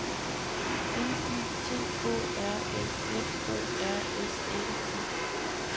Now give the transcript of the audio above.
N Y T Å R S F O R S Æ T